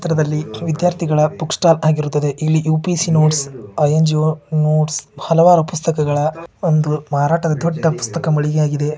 ಈ ಚಿತ್ರದಲ್ಲಿ ವಿದ್ಯಾರ್ಥಿಗಳ ಬುಕ್ ಸ್ಟಾಲ್ ಆಗಿರುತ್ತದೆ ಇಲ್ಲಿ UPSC notes I N G O notes ಹಲವಾರು ಪುಸ್ತಕಗಳ ಒಂದು ಮಾರಾಟದ ದೊಡ್ಡ ಪುಸ್ತಕ ಮಳಿಗೆಯಾಗಿದೆ.